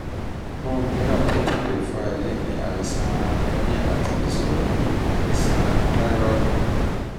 ohun mìíràn tó tún lè fa èyí ni àìsàn anemia àti ìṣòro iṣan táírọ́ọ̀dù